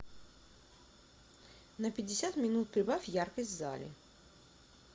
на пятьдесят минут прибавь яркость в зале